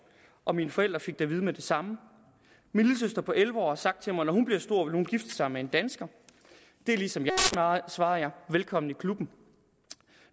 og mine forældre fik det at vide med det samme min lillesøster på elleve har sagt til mig at når hun bliver stor vil hun gifte sig med en dansker det er ligesom mig svarede jeg velkommen i klubben